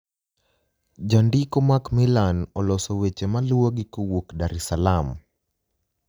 Janidiko Mac millani oloso weche maluwogi kowuok Dar es Saalaam.